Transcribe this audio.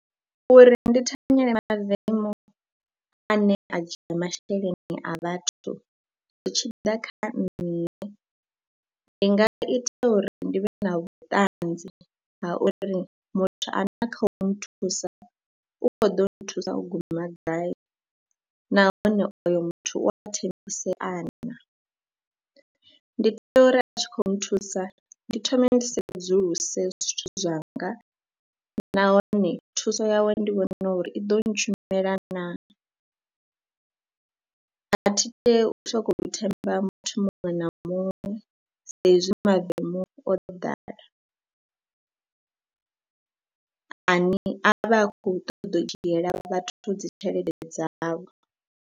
Uri ndi thanyela mavemu ane a dzhia masheleni a vhathu zwi tshi ḓa kha nṋe ndi nga ita uri ndi vhe na vhuṱanzi ha uri muthu ane a kha u nthusa u khou ḓo nthusa u guma gai nahone oyo muthu u a thembisea naa. Ndi tea uri a tshi khou nthusa ndi thome ndi sedzuluse zwithu zwanga nahone thuso yawe ndi vhone uri i ḓo ntshumela naa, a thi tei u sokou themba muthu muṅwe na muṅwe saizwi mavemu o ḓala ane vhe a khou ṱoḓa u dzhiela vhathu dzi tshelede dzavho.